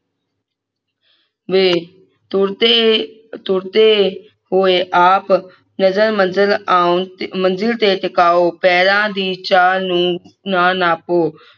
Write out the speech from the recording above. ਵੇ ਤੁਰਦੇ ਤੁਰਦੇ ਹੋਏ ਆਪ ਨਜਰ ਮੰਜਿਲ ਆਉਣ ਮੰਜਿਲ ਤੇ ਟਿਕਾਓ ਪੈਰਾਂ ਦੀ ਚਾਲ ਨੂੰ ਨਾ ਨਾਪੋ